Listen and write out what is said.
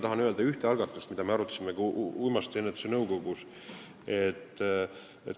Tahan viidata ühele algatusele, mida me arutasime ka uimastiennetuse komisjonis.